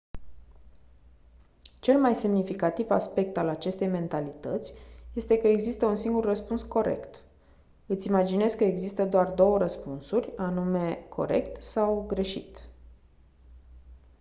cel mai semnificativ aspect al acestei mentalități este că există un singur răspuns corect îți imaginezi că există doar două răspunsuri anume corect sau greșit